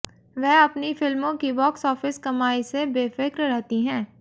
वह अपनी फिल्मों की बॉक्स ऑफिस कमाई से बेफ्रिक रहती हैं